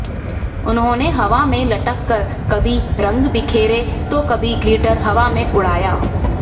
उन्होंने हवा में लटक कर कभी रंग बिखेरे तो कभी ग्लिटर हवा में उड़ाया